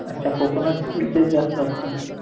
अच्छा कोकोनटच तेच जास्त असतं.